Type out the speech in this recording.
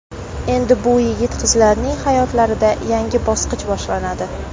Endi bu yigit-qizlarning hayotlarida yangi bosqich boshlanadi.